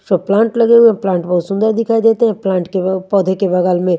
सब प्लांट लगे हुए है प्लांट बहोत सुंदर दिखाई देते है प्लांट के व पोधे के बगल में--